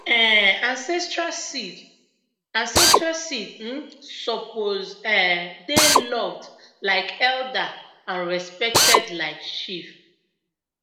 um ancestral seed ancestral seed um suppose um dey loved like elder and respected like chief